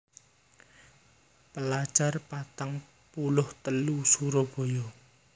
Pelajar patang puluh telu Surabaya